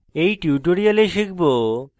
in tutorial শিখব